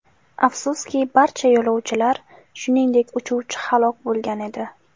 Afsuski, barcha yo‘lovchilar, shuningdek, uchuvchi halok bo‘lgan edi.